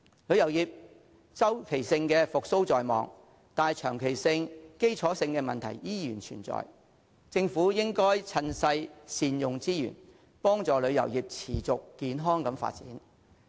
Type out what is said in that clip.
旅遊業周期性復蘇在望，但長期和基礎的問題仍然存在，政府應該趁勢善用資源，幫助旅遊業持續健康地發展。